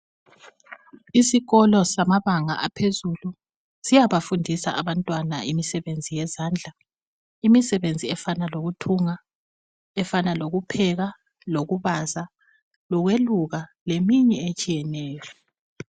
Isikolo samabanga aphezulu siyabafundisa abantwana imisebenzi yezandla efana lokupheka lokubaza lokweluka leminye etshiyeneyo